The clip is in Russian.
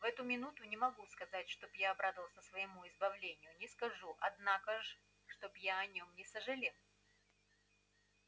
в эту минуту не могу сказать чтоб я обрадовался своему избавлению не скажу однако ж чтоб я о нём не сожалел